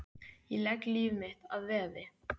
Ég legg líf mitt að veði.